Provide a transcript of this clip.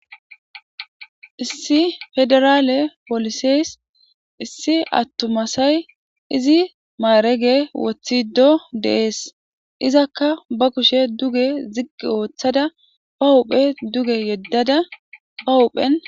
issi federaale poliseys issi attuma asay izi maarege wothido deees izakka ba kushe duge ziggi ooththada ba huphe duge yeddada ba huphen